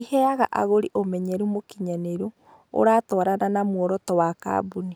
Ĩheaga agũri ũmenyeru mũkinyanĩru, ũratwarana na muoroto wa kambuni.